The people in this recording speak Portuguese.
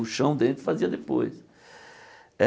O chão dentro fazia depois. Eh